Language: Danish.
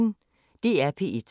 DR P1